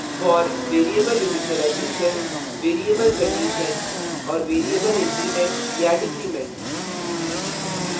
for variable initialization; variable condition; और variable increment या decrement